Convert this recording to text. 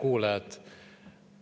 Head kuulajad!